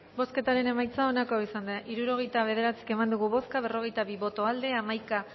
bozketaren emaitza onako izan da hirurogeita hamar eman dugu bozka berrogeita bi boto aldekoa hamaika